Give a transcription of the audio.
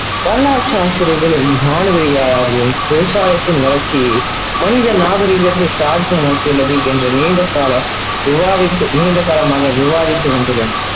வரலாற்று ஆசிரியர்களும் விவசாயத்தின் வளர்ச்சி மனித நாகரீகதை சார்ந்த நீண்ட கால் விவாதித்து நீண்ட காலமாக விவாதித்து வத்துள்ளார்.